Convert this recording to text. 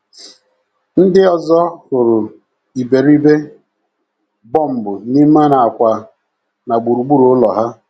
Ndị ọzọ hụrụ iberibe bọmbụ n’ime nakwa na gburugburu ụlọ ha.